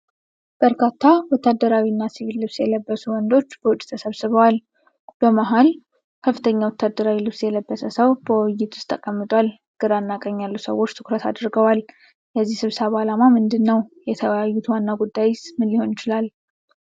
በርካታ ወታደራዊ እና ሲቪል ልብስ የለበሱ ወንዶች በውጪ ተሰብስበዋል። በመሃል ከፍተኛ ወታደራዊ ልብስ የለበሰ ሰው በውይይት ውስጥ ተቀምጧል። ግራና ቀኝ ያሉ ሰዎች ትኩረት አድርገዋል። የዚህ ስብሰባ ዓላማ ምንድን ነው? የተወያዩት ዋና ጉዳይ ምን ሊሆን ይችላል?